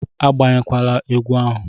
Agbanyela egbe ahu!